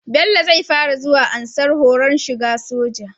Bello zai fara zuwa ansar horon shiga soja